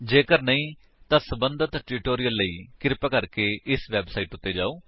ਜੇਕਰ ਨਹੀਂ ਤਾਂ ਸਬੰਧਤ ਟਿਊਟੋਰਿਅਲ ਲਈ ਕ੍ਰਿਪਾ ਸਾਡੀ ਇਸ ਵੇਬਸਾਈਟ ਉੱਤੇ ਜਾਓ